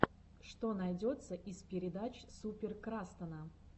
что найдется из передач супер крастана